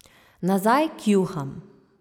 Nazaj k juham.